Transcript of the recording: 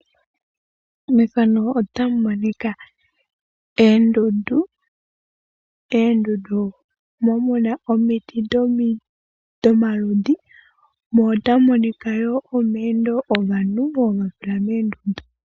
Moondundu omo hamu kala omiti dhomaludhi gi ili nogi ili mo ohamu monika woo omayendo gaantu mboka yasila moondundu.